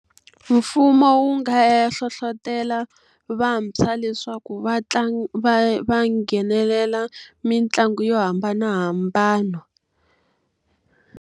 Mfumo wu nga ya hlohletela vantshwa leswaku va va va nghenelela mitlangu yo hambanahambana.